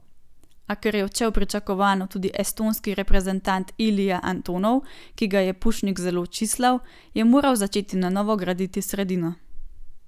A ker je odšel pričakovano tudi estonski reprezentant Ilija Antonov, ki ga je Pušnik zelo čislal, je moral začeti na novo graditi sredino.